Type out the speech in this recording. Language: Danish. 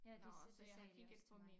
Ja det sidste sagde de også til mig